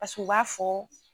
Paseke u b'a fɔ